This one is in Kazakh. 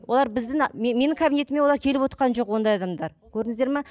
олар біздің менің кабинетіме олар келіп отырған жоқ ондай адамдар көрдіңіздер ме